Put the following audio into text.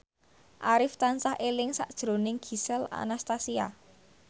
Arif tansah eling sakjroning Gisel Anastasia